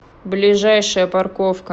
ближайшая парковка